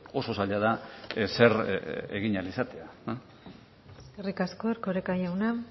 oso zaila da ezer egin ahal izatea eskerrik asko erkoreka jauna